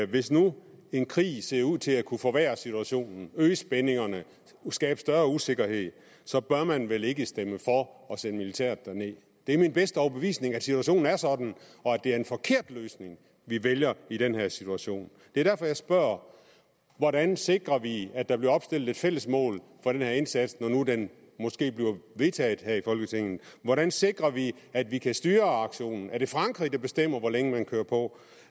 hvis nu en krig ser ud til at kunne forværre situationen øge spændingerne skabe større usikkerhed så bør man vel ikke stemme for at sende militæret derned det er min bedste overbevisning at situationen er sådan og at det er en forkert løsning vi vælger i den her situation det er derfor jeg spørger hvordan sikrer vi at der bliver opstillet et fælles mål for den her indsats når nu den måske bliver vedtaget her i folketinget hvordan sikrer vi at vi kan styre aktionen er det frankrig der bestemmer hvor længe man kører på